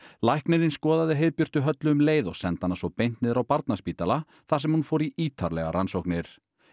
læknirinn skoðaði Heiðbjörtu Höllu um leið og sendi hana svo beint niður á Barnaspítalann þar sem hún fór í ítarlegar rannsóknir